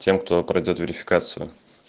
тем кто пройдёт верификацию